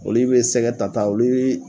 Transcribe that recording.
Olu bɛ sɛgɛ tata olu bɛ